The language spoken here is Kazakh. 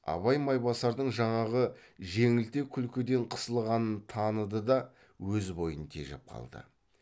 абай майбасардың жаңағы жеңілтек күлкіден қысылғанын таныды да өз бойын тежеп қалды